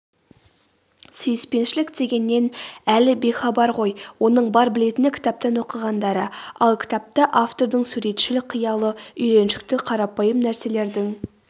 сүйіспеншілік дегеннен әлі бейхабар ғой оның бар білетіні кітаптан оқығандары ал кітапта автордың суретшіл қиялы үйреншікті қарапайым нәрселердің